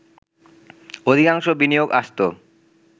অধিকাংশ বিনিয়োগ আসত